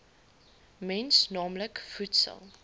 mens naamlik voedsel